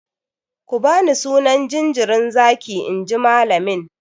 Ku bani sunan jinjirin zaki inji malamin!